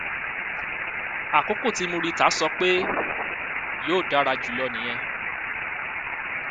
àkókò tí murità sọ pé yóò dára jù lọ nìyẹn